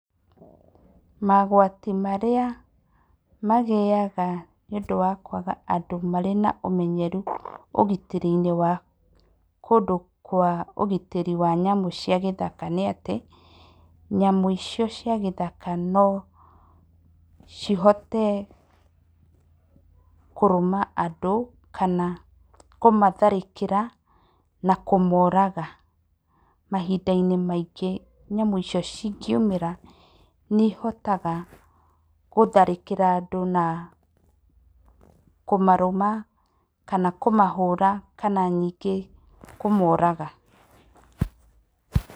Magwati marĩa magĩyaga nĩ ũndũ wa kwaga andũ marĩ na ũmenyeru ũgitĩri-inĩ wa kũndũ kwa ũgitĩri wa nyamũ cia gĩthaka nĩ atĩ, nyamũ icio cia gĩthaka no cihote, kũrũma andũ, kana kũmatharĩkĩra, na kũmoraga, mahinda-inĩ maingĩ nyamũ icio cingiumĩra, nĩ ihotaga gũtharĩkĩra andũ, na kũmarũma, kana kũmahũra, kana nyingĩ kũmoraga.